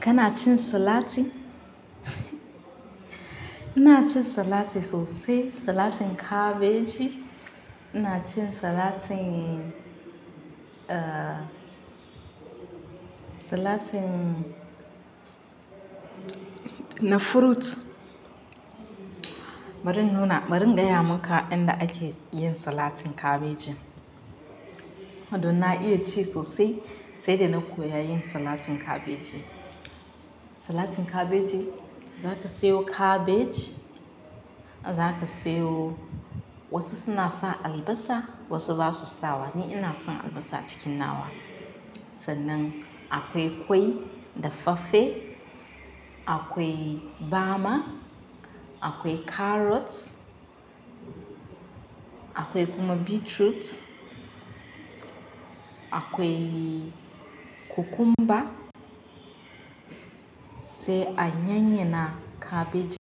Kana cin salati? Ina cin salati sosai, salatin kabeji. Ina cin salatin, uh, salatin na fruit. Barin nuna-- barin gaya maka inda ake yin salatin kabejin. Don na iya ci sosai, sai da na koya yin salatin kabeji. Salatin kabeji, za ka sayo kabej, za ka sayo wasu suna sa albasa, wasu ba su sawa. Ni ina son albasa cikin nawa. Sannan akwai ƙwai da fafe, akwai bama, akwai carrots, akwai kuma beetroots, akwai cucumber, sai a yanyana kabej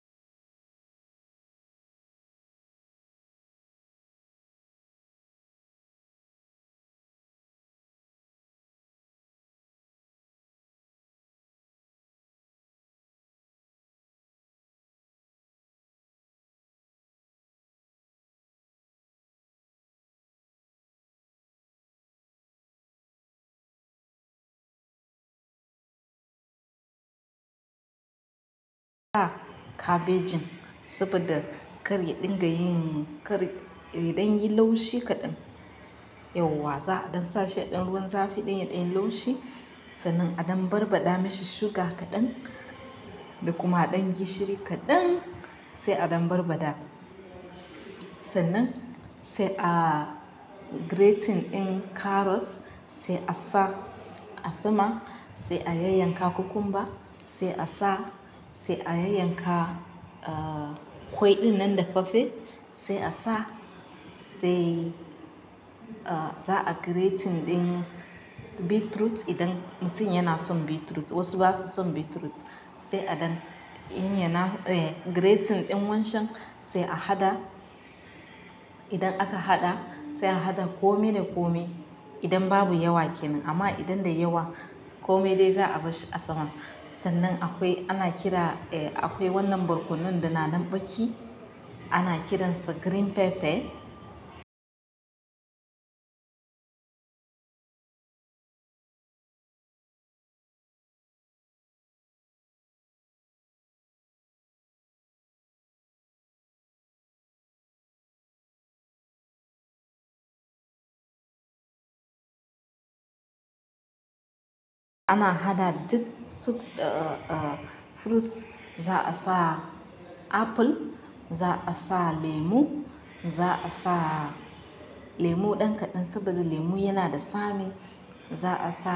ka kabejin saboda kar ya dinga yin, kar yaɗan yi laushi kaɗan. Yauwa za aɗan sa shi a ɗan ruwan zafi don ya ɗan yi laushi. Sannan aɗan barbada mashi suga kaɗan da kuma ɗan gishiri kaɗan sai aɗan barbada. Sannan sai a grating ɗin carrots sai a sa a sama, sai a yanyanka cucumber sai a sa, sai a yanyanka, uh, ƙwai ɗinnan da fafe sai a sa, sai, uh, za a grating ɗin beetroot idan mutum yana son beetroot. Wasu ba su son beetroot. Sai aɗan yin yana, eh, grating ɗin wancan sai a haɗa. Idan aka haɗa, sai a haɗa kome da kome idan babu yawa kenan. Amma idan da yawa, kome dai za a bashi a sama. Sannan akwai, ana kira, eh, akwai wannan barkonon da na nanɓaki, ana kiransa green pepper. Ana haɗa duk suf-- uh, uh, fruits. Za a sa apple, za a sa lemu, za a sa lemu ɗan kaɗan saboda lemu yana da tsami. Za a sa,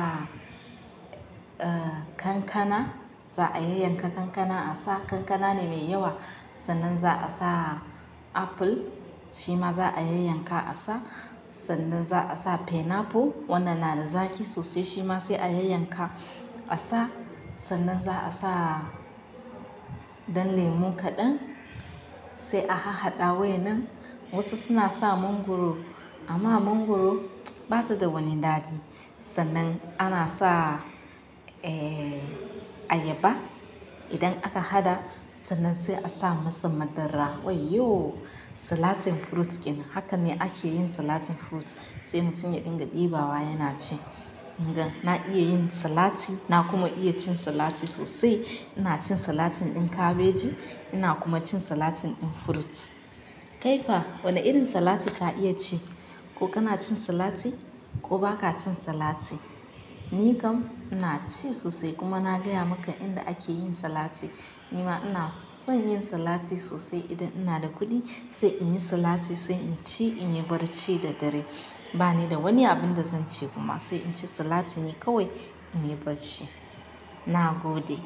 uh, kankana. Za a yanyanka kankana a sa. Kankana ne mai yawa. Sannan za a sa apple, shima za a yanyanka a sa. Sannan za a sa pineapple, wannan na da zaƙi sosai, shima sai a yanyanka a sa. Sannan za a sa ɗan lemu kaɗan sai a ha-haɗa wai nan. Wasu suna sa mangoro, amma mangoro ba ta da wani daɗi. Sannan ana sa, eh, ayaba. Idan aka haɗa, sannan sai a sa masa madara. Wai yo! Salatin fruit kenan. Haka ne ake yin salatin fruit sai mutum yaɗinga ɗiba wa yana ci. Mu gan na iya yin salati, na kuma iya cin salati sosai. Ina cin salatin ɗin kabeji, ina kuma cin salatin ɗin fruit. Kai fa, wane irin salati ka iya ci? Ko kana cin salati ko ba ka cin salati? Ni kam ina ci sosai kuma na gaya maka inda ake yin salati. Nima ina son yin salati sosai idan ina da kuɗi sai in yi salati sai in ci, in yi barci da dare. Ba ni da wani abin da zan ci kuma sai in ci salati ne kawai, in yi barci. Na gode.